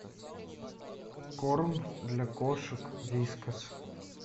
корм для кошек вискас